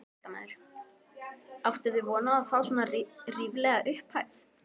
Fréttamaður: Áttuð þið von á að fá svona ríflega upphæð?